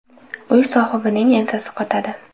Uy sohibining ensasi qotadi.